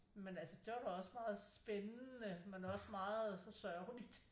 Men altså det var da også meget spændende men også meget sørgeligt